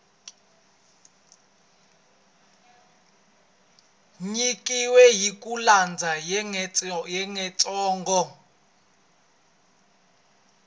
nyikiweke hi ku landza xiyengentsongo